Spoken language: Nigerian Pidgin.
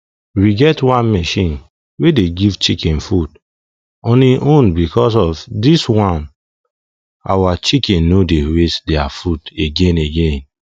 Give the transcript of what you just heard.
we get one machine wey dey give chicken food on hin own because of this one our chicken no dey waste their food again again